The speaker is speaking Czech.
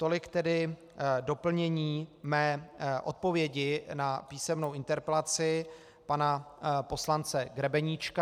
Tolik tedy doplnění mé odpovědi na písemnou interpelaci pana poslance Grebeníčka.